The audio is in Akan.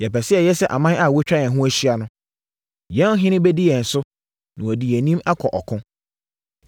Yɛpɛ sɛ yɛyɛ sɛ aman a wɔatwa yɛn ho ahyia no. Yɛn ɔhene bɛdi yɛn so, na wadi yɛn anim akɔ ɔko.”